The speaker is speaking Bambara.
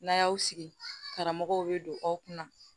N'an y'aw sigi karamɔgɔw bɛ don aw kunna